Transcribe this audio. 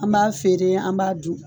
An b'a feere an b'a dun